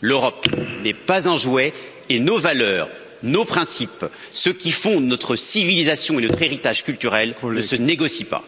l'Europe n'est pas un jouet et nos valeurs, nos principes, ce qui fonde notre civilisation et notre héritage culturel, ne se négocient pas.